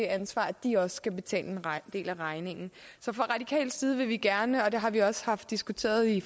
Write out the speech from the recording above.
ansvar at de også skal betale en del af regningen så fra radikal side vil vi gerne og det har vi også haft diskuteret i